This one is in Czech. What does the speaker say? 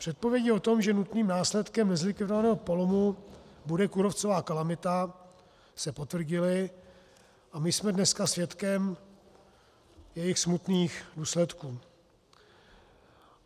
Předpovědi o tom, že nutným následkem nezlikvidovaného polomu bude kůrovcová kalamita, se potvrdily a my jsme dneska svědkem jejich smutných důsledků.